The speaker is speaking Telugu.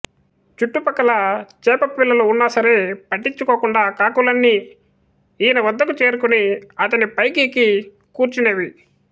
చుట్టుపక్కల చేప పిల్లలు ఉన్నా సరే పట్టించుకోకుండా కాకులన్నీ ఈయన వద్దకు చేరుకుని అతని పైకి ఎక్కి కూర్చొనేవి